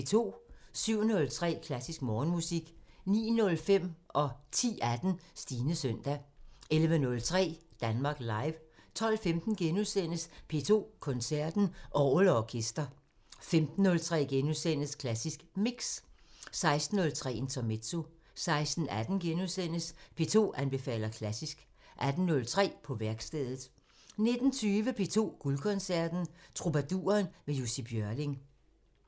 07:03: Klassisk Morgenmusik 09:05: Stines søndag 10:18: Stines søndag 11:03: Danmark Live 12:15: P2 Koncerten – Orgel & orkester * 15:03: Klassisk Mix * 16:03: Intermezzo 16:18: P2 anbefaler klassisk * 18:03: På værkstedet 19:20: P2 Guldkoncerten – Trubaduren med Jussi Björling